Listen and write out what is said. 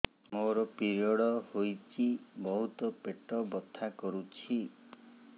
ମୋର ପିରିଅଡ଼ ହୋଇଛି ବହୁତ ପେଟ ବଥା କରୁଛି